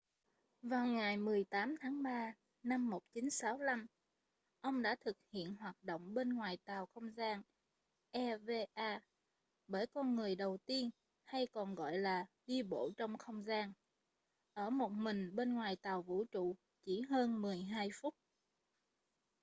vào ngày 18 tháng 3 năm 1965 ông đã thực hiện hoạt động bên ngoài tàu không gian eva bởi con người đầu tiên hay còn gọi là đi bộ trong không gian ở một mình bên ngoài tàu vũ trụ chỉ hơn mười hai phút